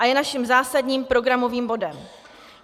A je naším zásadním programovým bodem.